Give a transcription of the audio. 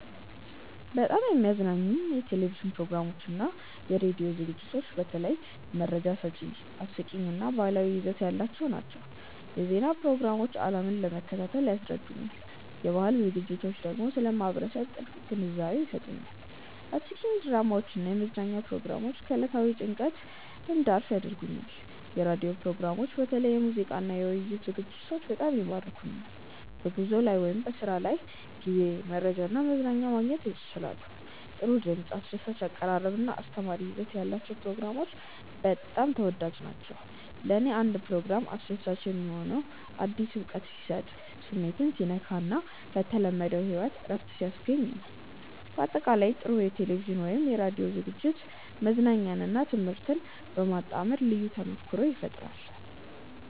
በጣም የሚያዝናኑኝ የቴሌቪዥን ፕሮግራሞችና የራዲዮ ዝግጅቶች በተለይ መረጃ ሰጪ፣ አስቂኝ እና ባህላዊ ይዘት ያላቸው ናቸው። የዜና ፕሮግራሞች ዓለምን ለመከታተል ይረዱኛል፣ የባህል ዝግጅቶች ደግሞ ስለ ማህበረሰብ ጥልቅ ግንዛቤ ይሰጡኛል። አስቂኝ ድራማዎች እና የመዝናኛ ፕሮግራሞች ከዕለታዊ ጭንቀት እንድረፍ ያደርጉኛል። የራዲዮ ፕሮግራሞችም በተለይ የሙዚቃና የውይይት ዝግጅቶች በጣም ይማርኩኛል። በጉዞ ላይ ወይም በስራ ጊዜ መረጃና መዝናኛ ማግኘት ያስችላሉ። ጥሩ ድምፅ፣ አስደሳች አቀራረብ እና አስተማሪ ይዘት ያላቸው ፕሮግራሞች በጣም ተወዳጅ ናቸው። ለእኔ አንድ ፕሮግራም አስደሳች የሚሆነው አዲስ እውቀት ሲሰጥ፣ ስሜትን ሲነካ እና ከተለመደው ሕይወት እረፍት ሲያስገኝ ነው። በአጠቃላይ፣ ጥሩ የቴሌቪዥን ወይም የራዲዮ ዝግጅት መዝናኛንና ትምህርትን በማጣመር ልዩ ተሞክሮ ይፈጥራል